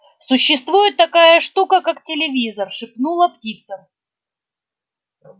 существует такая штука как телевизор шепнула птица